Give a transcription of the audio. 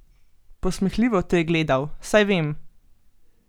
Posmehljivo te je gledal, saj vem.